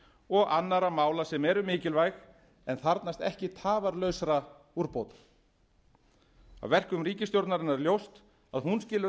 og annarra mála sem eru mikilvæg en þarfnast ekki tafarlausra úrbóta af verkum ríkisstjórnarinnar er ljóst að hún skilur